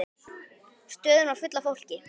Stöðin var full af fólki.